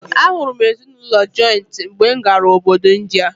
A hụrụ m ezinụlọ jọịntị mgbe m gara obodo Ịndịa.